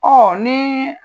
Ɔɔ nii